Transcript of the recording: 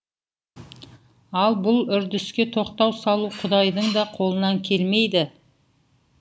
ал бұл үрдіске тоқтау салу құдайдың да қолынан келмейді